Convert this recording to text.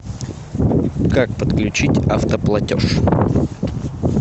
как подключить автоплатеж